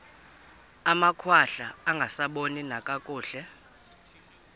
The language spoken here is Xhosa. amakhwahla angasaboni nakakuhle